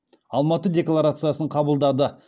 алматы декларациясын қабылдады